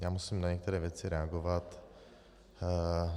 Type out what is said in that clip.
Já musím na některé věci reagovat.